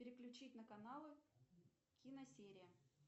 переключить на каналы киносерия